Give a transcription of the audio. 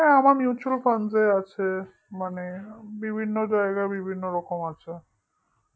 হ্যাঁ আমার mutual fund এ আছে মানে বিভিন্ন জায়গায় বিভিন্ন রকম আছে